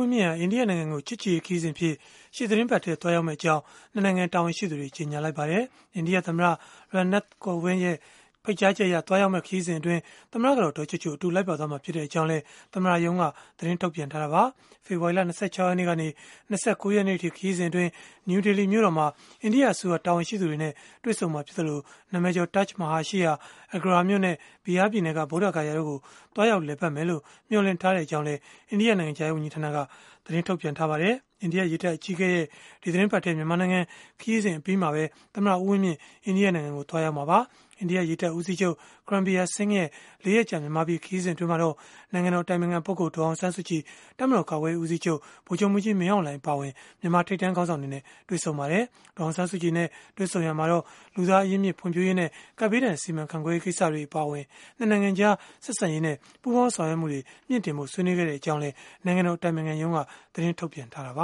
းမြင့်ဟာ အိန္ဒိယနိုင်ငံကို ချစ်ကြည်ရေးခရီးစဉ်အဖြစ် ရှေ့သီတင်းပတ်ထဲ သွားရောက်မှာ ဖြစ်ကြောင်း ၂ နိုင်ငံ တာဝန်ရှိသူတွေ ကြေညာလိုက်ပါတယ်။ အိန္ဒိယသမ္မတ Ram Nath Kovind ရဲ့ ဖိတ်ကြားချက်အရ သွားရောက်မယ့် ခရီးစဉ်မှာ သမ္မတကတော် ဒေါ်ချိုချို အတူလိုက်ပါသွားမှာ ဖြစ်ကြောင်းလည်း သမ္မတရုံးက သတင်းထုတ်ပြန်ထားတာပါ။ ဖေဖော်ဝါရီလ ၂၆ ရက်နေ့ကနေ ၂၉ ရက်နေ့အထိ ခရီးစဉ်အတွင်း နယူးဒေလီမြို့တော်မှာ အိန္ဒိယအစိုးရ တာဝန်ရှိသူတွေနဲ့ တွေ့ဆုံမှာဖြစ်သလို၊ နာမည်ကျော် Taj Mahal ရှိရာ Agra မြို့နဲ့ Bihar ပြည်နယ်က ဗုဒ္ဓဂယာ တို့ကို သွားရောက်လည်ပတ်မယ်လို့ မျှော်လင့်ထားကြောင်းလည်း အိန္ဒိယနိုင်ငံခြားရေးဝန်ကြီးဌာနက သတင်းထုတ်ပြန်ထားပါတယ်။ အိန္ဒိယရေတပ်အကြီးအကဲရဲ့ ဒီသီတင်းပတ်ထဲ မြန်မာနိုင်ငံ ခရီးစဉ် အပြီးမှာပဲ သမ္မတ ဦးဝင်းမြင့် အိန္ဒိယနိုင်ငံကိုသွားရောက်မှာပါ။ အိန္ဒိယရေတပ်ဦးစီးချုပ် Karambir Singh ရဲ့ ၄ ရက်ကြာ မြန်မာပြည် ခရီးစဉ်အတွင်းမှာတော့ နိုင်ငံတော် အတိုင်ပင်ခံပုဂ္ဂိုလ် ဒေါ်အောင်ဆန်းစုကြည်၊ တပ်မတော် ကာကွယ်ရေးဦးစီးချုပ် ဗိုလ်ချုပ်မှူးကြီး မင်းအောင်လှိုင် အပါအဝင် မြန်မာထိပ်တန်းခေါင်းဆောင်တွေနဲ့ တွေ့ဆုံခဲ့ပါတယ်။ ဒေါ်အောင်ဆန်းစုကြည်နဲ့ တွေ့ဆုံရာမှာ လူသားအရင်းအမြစ် ဖွံ့ဖြိုးရေးနဲ့ ကပ်ဘေးဒဏ် စီမံခန့်ခွဲရေး ကိစ္စတွေ အပါအဝင် ၂ နိုင်ငံကြား ဆက်ဆံရေးနဲ့ ပူးပေါင်းဆောင်ရွက်မှုတွေ မြှင့်တင်ဖို့ ဆွေးနွေးခဲ့ကြောင်းလည်း နိုင်ငံတော် အတိုင်ပင်ခံရုံးက သတင်းထုတ်ပြန်ခဲ့တာပ